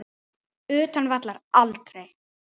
Utan vallar: aldrei.